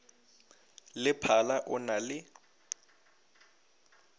le phala o na le